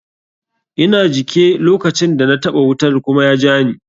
Ina jike lokacin da na taɓa wutar kuma ya jani.